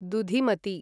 दुधिमति